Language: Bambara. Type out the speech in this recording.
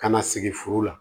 Ka na sigi furu la